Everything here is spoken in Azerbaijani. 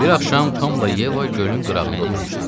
Bir axşam Tomla Yeva gölün qırağında oturmuşdular.